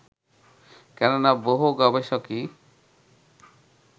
কেননা, বহু গবেষকই